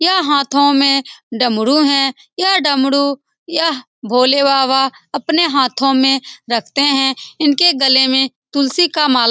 यह हाथों में डमरू है यह डमरू यह भोले बाबा अपने हाथों में रखते हैं इनके गले में तुलसी का माला --